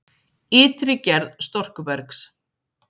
Ytri gerð storkubergs